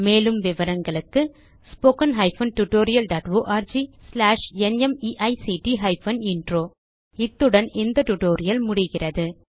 மேலும் விவரங்களுக்கு 1 இத்துடன் இந்த டியூட்டோரியல் முடிகிறது